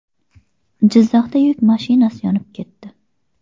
Jizzaxda yuk mashinasi yonib ketdi.